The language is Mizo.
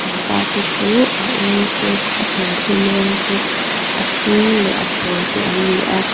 pangpar te chu a eng te a serthlum rawng te a hring leh apawl te an ni a.